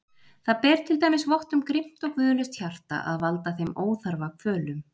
Það ber til dæmis vott um grimmt og guðlaust hjarta að valda þeim óþarfa kvölum.